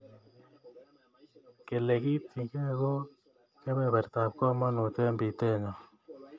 Kelegityigei ko kebebertab komonut eng pitenyo.